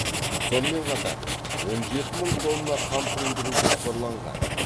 сонымен қатар он жеті мың тонна қант өндіру жоспарланған